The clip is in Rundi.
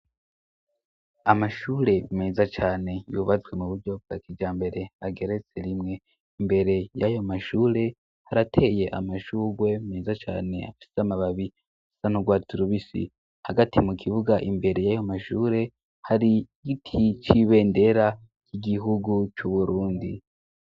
amashure meza cane yubatswe mu buryo bwakijambere ageretse rimwe imbere y'ayo mashure harateye amashugwe meza cane afite amababi asanurwatsi rubisi hagati mu kibuga imbere y'ayo mashure harigiti c'ibendera c'igihugu c'uburundi